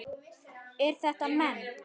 Eru þetta menn?